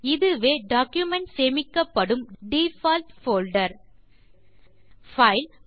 இதுவே டாக்குமென்ட் சேமிக்கப்படும் default folder file